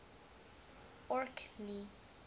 orkney